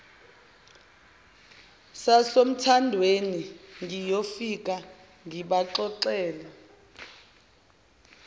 sasothandweni ngiyofike ngibaxoxele